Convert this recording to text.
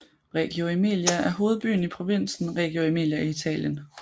Reggio Emilia er hovedbyen i provinsen Reggio Emilia i Italien